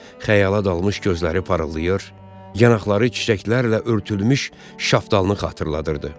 Xəyala dalmış gözləri parıldayır, yanaqları çiçəklərlə örtülmüş şaftalını xatırladırdı.